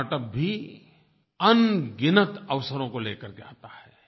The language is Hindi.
स्टार्टअप भी अनगिनत अवसरों को लेकर के आता है